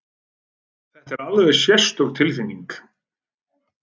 Þetta er alveg sérstök tilfinning!